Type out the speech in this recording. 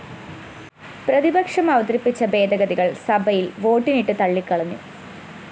പ്രതിപക്ഷം അവതരിപ്പിച്ച ഭേദഗതികള്‍ സഭയില്‍ വോട്ടിനിട്ട് തള്ളിക്കളഞ്ഞു